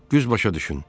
Güz başa düş.